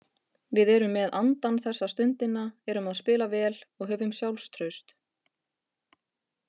Við erum með andann þessa stundina, erum að spila vel og höfum sjálfstraust.